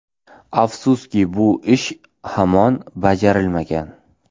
Afsuski, bu ish hamon bajarilmagan.